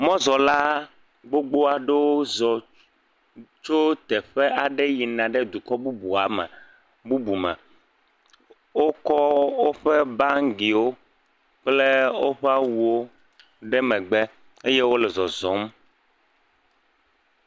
Mɔzɔla gbogbo aɖewo zɔ tso teƒe aɖe yina ɖe dukɔ bubuwo me, bubu me. Wokɔ woƒe bangiwo kple woƒe awuwo ɖe megbe eye wole zɔzɔm.